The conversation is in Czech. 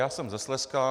Já jsem ze Slezska.